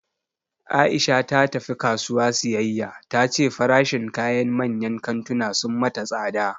Aisha ta tafi kasuwa siyayya, ta ce farashin kayan manyan kantuna sun mata tsada